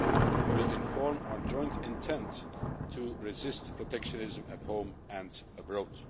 We will state our joint intent to resist protectionism at home and abroad.